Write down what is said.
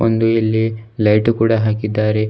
ಒಂದು ಇಲ್ಲಿ ಲೈಟು ಕೂಡ ಹಾಕಿದ್ದಾರೆ.